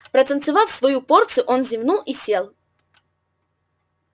протанцевав свою порцию он зевнул и сел